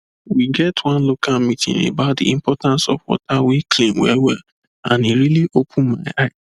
we get one local meeting about the importance of water wey clean wellwell and e really open my eye